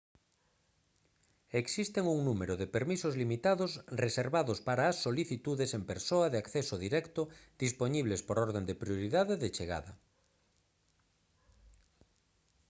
existen un número de permisos limitados reservados para as solicitudes en persoa de acceso directo dispoñibles por orde de prioridade de chegada